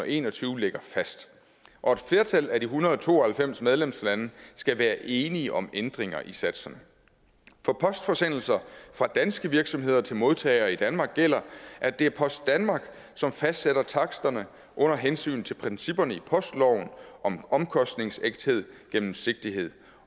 en og tyve ligger fast og et flertal af de en hundrede og to og halvfems medlemslande skal være enige om ændringer i satserne for postforsendelser fra danske virksomheder til modtagere i danmark gælder at det er post danmark som fastsætter taksterne under hensyn til principperne i postloven om omkostningsægthed gennemsigtighed